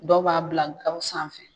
Dɔw b'a bila gaw sanfɛ.